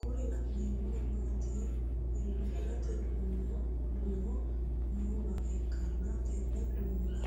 kuri la'neemori mitte hirate duuno noowa ikkanna tenne duunora